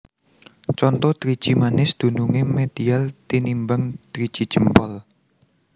Conto Driji manis dunungé medial tinimbang driji jempol